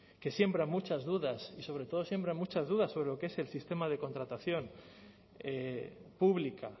que siembra muchas dudas y sobre todo siembra muchas dudas sobre lo que es el sistema de contratación pública